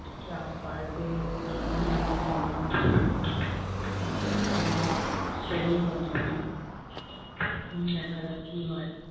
চাপ বাড়বে কারণ অন্যান্য সময়ের মতো নয় আহ মানে শ্রেণীর মতো নয় উম দেখা যাক কি হয়।